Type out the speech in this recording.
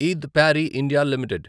ఇద్ Parry India limited